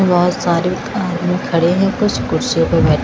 बहुत सारे आदमी खड़े हैं कुछ कुर्सियों पे बै--